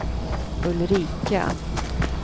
Ulrika